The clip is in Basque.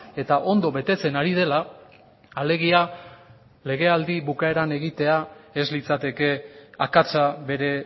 eta ondo betetzen ari dela alegia legealdi bukaeran egitea ez litzateke akatsa bere